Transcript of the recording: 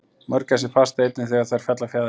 mörgæsir fasta einnig þegar þær fella fjaðrir